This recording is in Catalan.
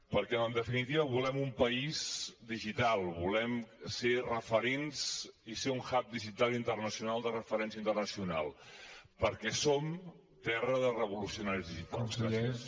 perquè en definitiva volem un país digital volem ser referents i ser un hub digital internacional de referència internacional perquè som terra de revolucionaris digitals